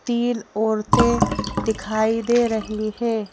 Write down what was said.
तीन औरतेंदिखाई दे रही हैं।